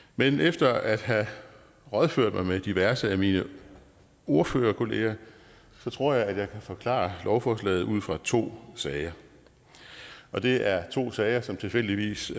men efter at have rådført mig med diverse af mine ordførerkollegaer tror jeg at jeg kan forklare lovforslaget ud fra to sager og det er to sager som tilfældigvis